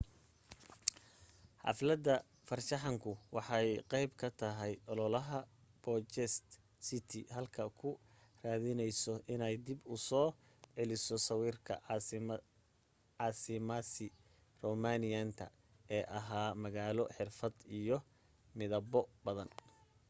xaflada farshaxanku waxay qayb ka tahay ololaha bucharest city hall ku raadinayso inay dib u soo celiso sawirkii caasimasii roomaaniyiinta ee ahaa magaalo xirfad iyo midabo badan